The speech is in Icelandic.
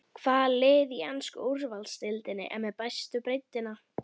Hvaða lið í ensku úrvalsdeildinni er með bestu breiddina?